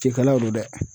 Cɛkɛlaw don dɛ